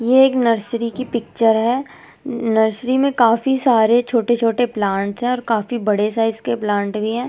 ये एक नर्सरी की पिक्चर है नर्सरी में काफ़ी सारे छोटे छोटे प्लांट है और काफ़ी बड़े साइड के प्लांट भी है और --